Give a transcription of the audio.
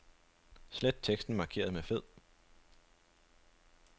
Slet teksten markeret med fed.